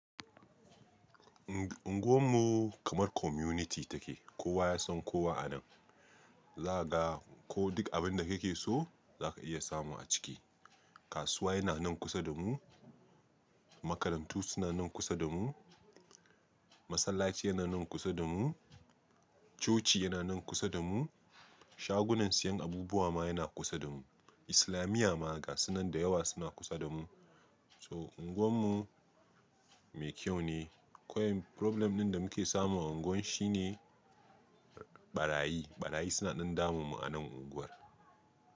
Unguwan mu kamar community take kowa yasan kowa anan. Zakaga ko duk abinda kake so zaka iya samu a ciki. Kasuwa yana nan kusa damu, makarantu suna nan kusa damu, masallaci yana nan kusa damu, coci yana nan kusa damu, shagunan siyan abubuwa ma yana kusa damu. Islamiyya ma gasunan da yawa suna kusa damu. To unguwan mu me kyau ne, kawai problem din damuke samu a unguwar shine barayi, barayi suna ɗan damu mu anan unguwar.